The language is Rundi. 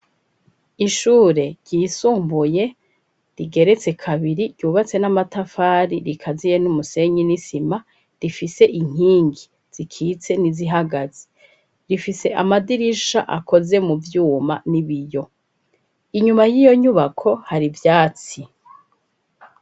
Ishure ryisumbuye rigeretse kabiri ryubatse n'amatafari rikaziye n'umusenyi n'isima rifise inkingi zikitse n'izihagaze rifise amadirisha akoze mu vyuma n'ibiyo inyuma y'iyo nyubako hari vyatsi.